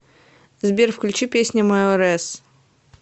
сбер включи песня майорес